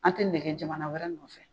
An tɛ nege jamana wɛrɛ nɔfɛ